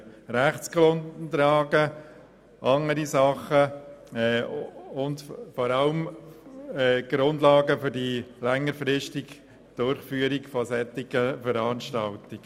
Rechtsgrundlagen und andere Dinge, vor allem aber Grundlagen für die längerfristige Durchführung solcher Veranstaltungen.